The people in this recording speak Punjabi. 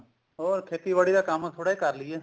ਹੋਰ ਖੇਤੀਬਾੜੀ ਦਾ ਕੰਮ ਥੋੜਾ ਜਾ ਕਰ ਲਈਏ